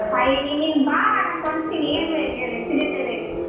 ಅಯ್ಯ್ ನೀನ್ ಬಾ ನಾನ್ ಕೊಡಸ್ತಿನಿ ಏನ್ ಬೇಕು ಹೇಳು ಎಷ್ಟ್ ಜೊತೆ ಬೇಕು.